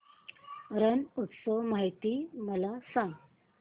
रण उत्सव माहिती मला सांग